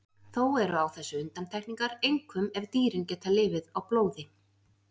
Þó eru á þessu undantekningar, einkum ef dýrin geta lifað á blóði.